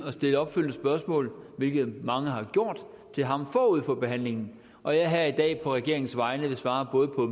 at stille opfølgende spørgsmål hvilket mange har gjort til ham forud for behandlingen og jeg vil her i dag på regeringens vegne svare både på